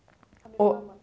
og